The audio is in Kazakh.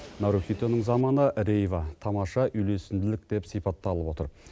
нарухитоның заманы рейва тамаша үйлесімділік деп сипатталып отыр